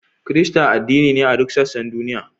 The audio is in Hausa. Kirista addini ne a duk sassan duniya.